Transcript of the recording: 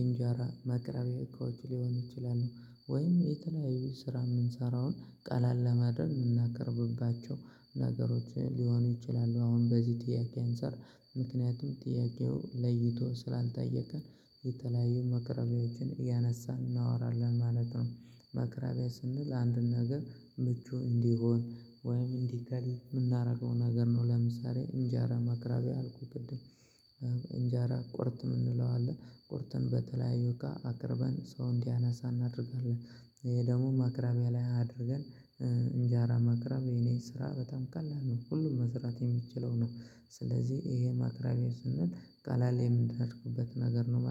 እንጀራ ማቅረብያ እቃዎች ሊሆን ይችላል። ወይም የተለያዩ ስራ የምንሰራውን ቀለል ለማድረግ የምናቀርብባቸው ነገሮች ሊሆኑ ይችላሉ። አሁን በዚህ ጥያቄ አንዓር ምክንያቱም ጥያቄው ለይቶ ስላልጠየቀን የተለያዩ መክረቢያዎችን እያነሳን እናወራለን ማለት ነው። ማክራቢያ ስንል አንድን ነገር ምቹ እንዲሆን ወይም እንዲገል የምናደርገው ነገር ነው። ለምሳሌ እንጃራ ማቅረቢያ አልኩኝ ቅድም። እንጃራ ቁርጥ የምንለው አለ ቁርጡን በተለያዩ እቃ አቅርበን ሰው እንዲያነሳ እናደርጋለን። ይሄ ደግሞ ማክራቢያ ላይ አድርገን እንጃራ ማቅረብ የኔ ስራ በጣም ቀላል ነው። ሁሉም መስራት የሚችለው ነው። ስለዚህ ይሄ ማቅረብያ ስንል ቀላል የምንደርኩበት ነገር ነው ማለት ነው